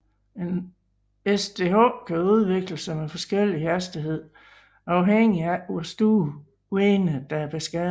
Et SDH kan udvikle sig med forskellig hastighed afhængigt af hvor store vener der er beskadigede